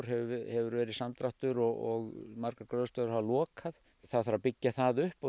hefur verið samdráttur og margar gróðrarstöðvar hafa lokað það þarf að byggja það upp og